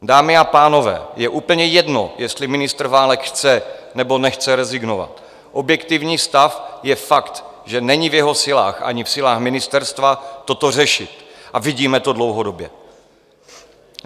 Dámy a pánové, je úplně jedno, jestli ministr Válek chce nebo nechce rezignovat, objektivní stav je fakt, že není v jeho silách ani v silách ministerstva toto řešit, a vidíme to dlouhodobě.